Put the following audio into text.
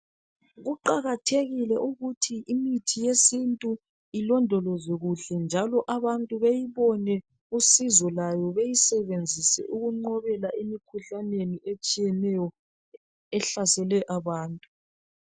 Kuqakathekile ukuthi imithi yesintu ilondolozwe kuhle njalo abantu beyibone usizo lwayo beyisebenzise ukunqobela imikhuhlaneni etshiyeneyo ehlasele abantu.